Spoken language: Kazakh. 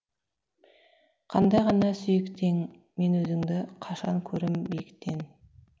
қандай ғана сүйікті ең мен өзіңді қашан көрем биіктен